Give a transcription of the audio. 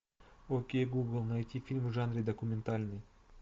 окей гугл найти фильм в жанре документальный